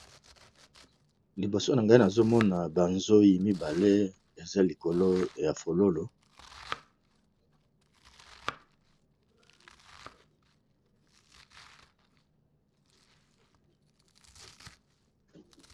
Liboso na ngai nazo mona ba nzoy mibale, eza likolo ya fololo .